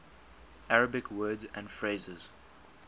arabic words and phrases